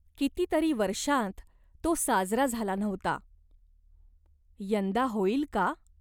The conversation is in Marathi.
किती तरी वर्षांत तो साजरा झाला नव्हता. यंदा होईल का ?